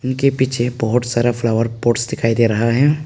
इनके पीछे बहोत सारा फ्लावर पॉट्स दिखाई दे रहा है।